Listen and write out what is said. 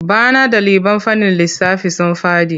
Bana ɗaliban fannin lissafi sun faɗi.